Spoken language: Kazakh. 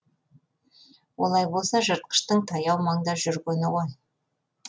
олай болса жыртқыштың таяу маңда жүргені ғой